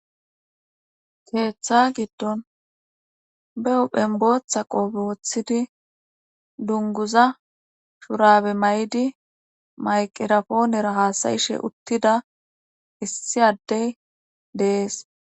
keeththa giddon be huphen booththa qoobe woththidi dunguza shurabe may7idi mayqirapoonera haasayishe uttida issi addey dees